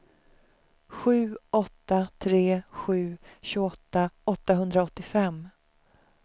sju åtta tre sju tjugoåtta åttahundraåttiofem